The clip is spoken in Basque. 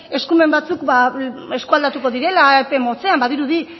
eskumen batzuk ba eskualdatuko direla epe motzean badirudi